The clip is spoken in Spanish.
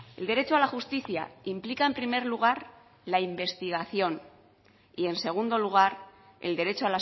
el derecho a la justicia implica en primer lugar la investigación y en segundo lugar el derecho